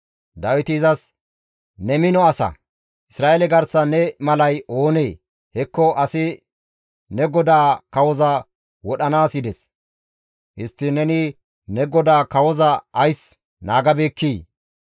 Dawiti izas, «Ne mino asa; Isra7eele garsan ne malay oonee? Hekko asi ne godaa kawoza wodhanaas yides; histtiin neni ne godaa kawoza ays naagabeekkii?